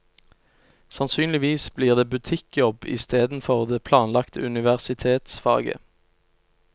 Sannsynligvis blir det butikkjobb istedenfor det planlagte universitetsfaget.